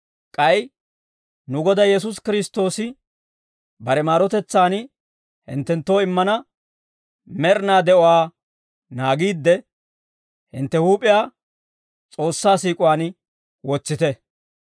K'ay nu Goday Yesuusi Kiristtoosi bare maarotetsaan hinttenttoo immana med'inaa de'uwaa naagiidde, hintte huup'iyaa S'oossaa siik'uwaan wotsite.